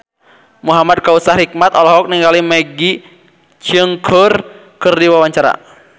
Muhamad Kautsar Hikmat olohok ningali Maggie Cheung keur diwawancara